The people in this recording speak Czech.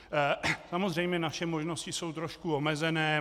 Samozřejmě naše možnosti jsou trošku omezené.